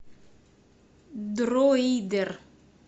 дроидер